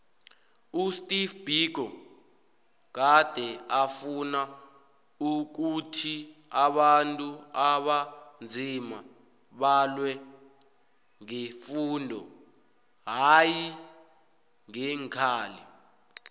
usteve biko gade afuna ukhuthi abantu abanzima balwe ngefundo hayi ngeenkhali